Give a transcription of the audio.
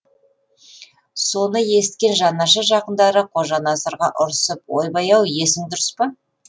соны есіткен жанашыр жақындары қожа насырға ұрысып ойбай ау есің дұрыс па